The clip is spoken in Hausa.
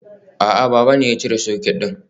A'a, baba ne ya cire socket din.